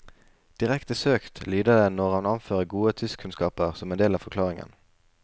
Direkte søkt lyder det når han anfører gode tyskkunnskaper som en del av forklaringen.